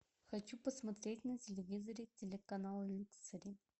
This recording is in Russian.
хочу посмотреть на телевизоре телеканал люксори